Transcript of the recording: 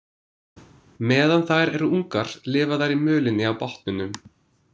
Meðan þær eru ungar lifa þær í mölinni á botninum.